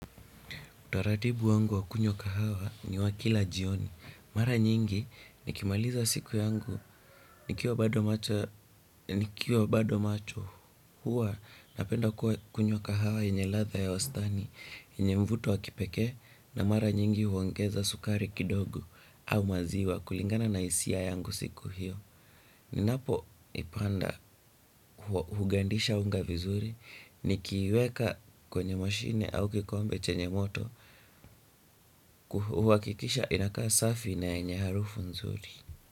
Utaratibu wangu wa kunywa kahawa ni wa kila jioni. Mara nyingi nikimaliza siku yangu nikiwa bado macho huwa napenda kuwa kunywa kahawa yenye ladha ya wastani, yenye mvuto wa kipekee na mara nyingi huongeza sukari kidogo au maziwa kulingana na hisia yangu siku hiyo. Ninapoipanda hugandisha unga vizuri nikiiweka kwenye mashine au kikombe chenye moto huhakikisha inakaa safi na yenye harufu nzuri.